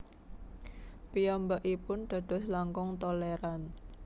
Piyambakipun dados langkung tolèran